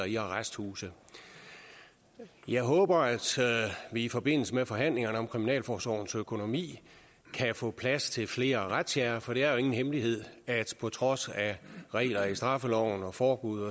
i arresthuse jeg håber at vi i forbindelse med forhandlingerne om kriminalforsorgens økonomi kan få plads til flere razziaer for det er jo ingen hemmelighed at på trods af regler i straffeloven og forbud